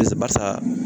Barisa barisa